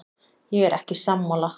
Ég er ekki sammála.